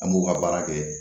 An b'u ka baara kɛ